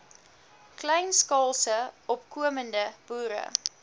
kleinskaalse opkomende boere